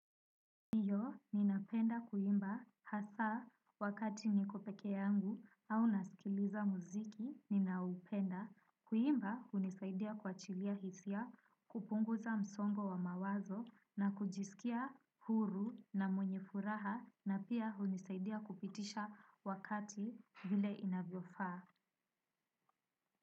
Heo ninapenda kuimba hasa wakati nikopeke yangu au nasikiliza muziki ninaupenda. Kuimba unisaidia kwa chilia hisia kupunguza msongo wa mawazo na kujisikia huru na mwenye furaha na pia unisaidia kupitisha wakati vile inaviofa.